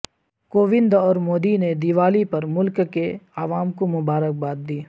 کووند اور مودی نے دیوالی پر ملک کے عوام کو مبارکباد دی